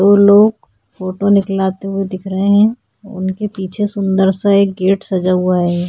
ओर लोग फोटो निकलाते हुए दिख रहे है उनके पीछे सूंदर सा एक गेट सजा हुआ है।